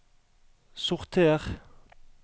sorter